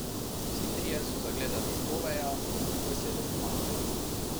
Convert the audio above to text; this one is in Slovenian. Vsi trije so zagledali Oveja in mu veselo pomahali.